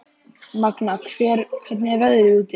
Magna, hvernig er veðrið úti?